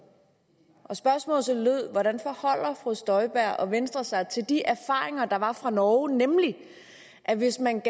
spørgsmålet lød hvordan forholder fru støjberg og venstre sig til de erfaringer der var fra norge nemlig at hvis man